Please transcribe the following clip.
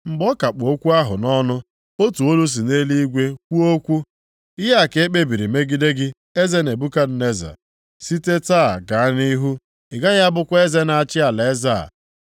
Mgbe ọ ka kpụ okwu ahụ nʼọnụ, otu olu si nʼeluigwe kwuo okwu, “Ihe a ka e kpebiri megide gị, eze Nebukadneza. Site taa gaa nʼihu ị gaghị abụkwa eze na-achị alaeze a.